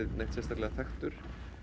neitt sérstaklega þekktur